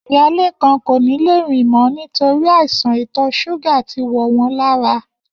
Iya Lékan kò ní lè rìn mó̩ nítorí àìsàn ìtò̩ s̩úgà ti wò̩ wó̩n lára